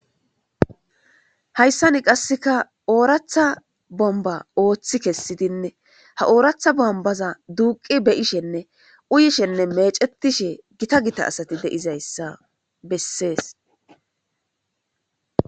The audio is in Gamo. Hayssani qasseka ooratha bomba ooththi kessidinne ha ooratha bombaza duuqi beyishenne uyishenne mecetishe gita gita asati deizayssa bessees